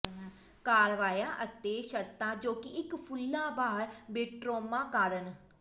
ਕਾਰਵਾਈਆਂ ਅਤੇ ਸ਼ਰਤਾਂ ਜੋ ਕਿ ਇੱਕ ਫੁੱਲਾਂਬਾਰ ਬੋਟੋਟ੍ਰੁਮਾ ਕਾਰਨ